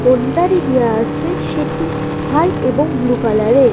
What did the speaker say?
Area আছে সেটি white এবং ব্লু কালার এর।